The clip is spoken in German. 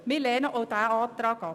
Wir lehnen auch diesen Antrag ab.